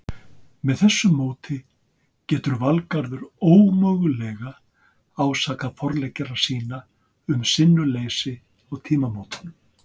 Með þessu móti getur Valgarður ómögulega ásakað forleggjara sína um sinnuleysi á tímamótunum.